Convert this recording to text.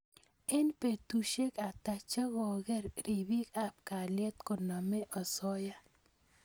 eng petusiek ata chekokeker ripik ap kaliet konamei osoya